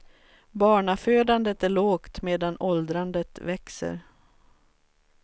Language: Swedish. Barnafödandet är lågt medan åldrandet växer.